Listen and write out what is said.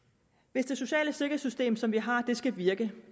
hvis det sociale sikkerhedssystem som vi har skal virke